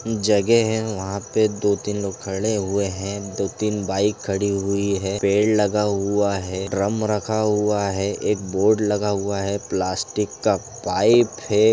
जगह है वहां पे दो तीन लोग खड़े हुए हैं दो तीन बाइक खड़ी हुई है पेड़ लगा हुआ है ड्रम रखा हुआ है एक बोर्ड लगा हुआ है प्लास्टिक का पाइप है।